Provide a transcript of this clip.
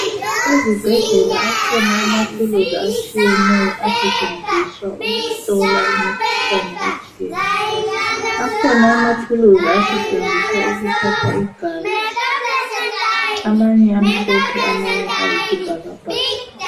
Ezibhedlela akhona amathuluzi asetshenziswa ukuhlola imikhuhlane etshiyeneyo , akhona amathuluzi asetshenziswa ukuthatha igazi amanye amhlophe amanye ayisibhakabhaka